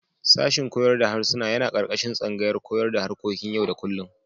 Sashin koyar da harsuna yana ƙarƙashin tsangayar koyon da harkokin yau-da-kullum.